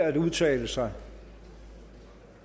at udtale sig